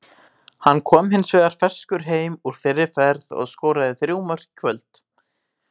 Hann kom hins vegar ferskur heim úr þeirri ferð og skoraði þrjú mörk í kvöld.